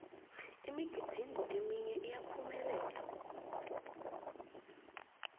imigidingo eminye iyaphumelela